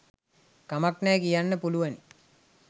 කමක් නෑ කියන්න පුළුවනි